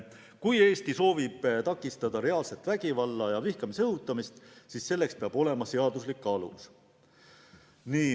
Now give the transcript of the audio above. Kui Eesti soovib takistada reaalset vägivalla ja vihkamise õhutamist, siis selleks peab olemas olema seaduslik alus.